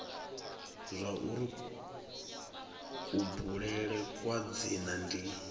zwauri kubulele kwa dzina ndi